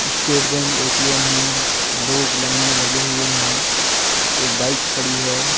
State Bank ATM है लोग line मे लगे हुए है एक बाइक खड़ी है।